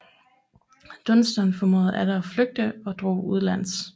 Dunstan formåede atter at flygte og drog udenlands